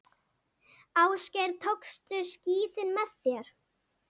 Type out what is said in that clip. Ásgeir, tókstu skíðin með þér?